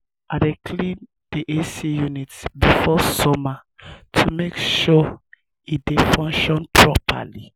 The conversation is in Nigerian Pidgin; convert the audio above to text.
i dey clean the ac unit before summer to make sure e dey function properly.